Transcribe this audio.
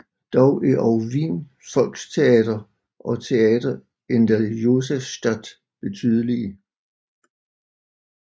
Dog er også Wien Volkstheater og Theater in der Josefstadt betydelige